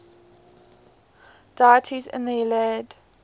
deities in the iliad